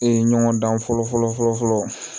Ee ɲɔgɔndan fɔlɔ fɔlɔ fɔlɔ fɔlɔ